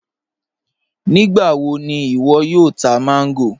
Nígbàwọ̀ ni iwo yóò tà mango?